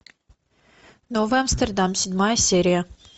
новый амстердам седьмая серия